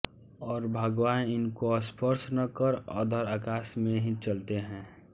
और भगवान इनको स्पर्श न कर अधर आकाश में ही चलते हैं